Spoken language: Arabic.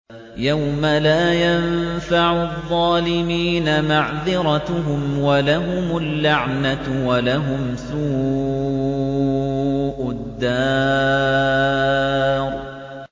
يَوْمَ لَا يَنفَعُ الظَّالِمِينَ مَعْذِرَتُهُمْ ۖ وَلَهُمُ اللَّعْنَةُ وَلَهُمْ سُوءُ الدَّارِ